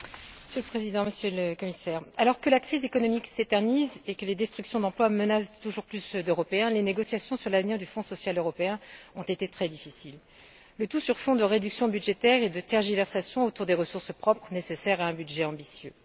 Monsieur le Président, Monsieur le Commissaire, alors que la crise économique s'éternise et que les destructions d'emplois menacent toujours plus d'Européens, les négociations sur l'avenir du Fonds social européen ont été très difficiles, le tout sur fond de réductions budgétaires et de tergiversations au sujet des ressources propres nécessaires à un budget ambitieux.